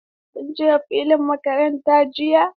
Kun je filin makaranta jiya?